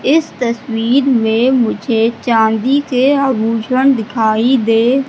इस तस्वीर में मुझे चांदी के आभूषण दिखाई दे--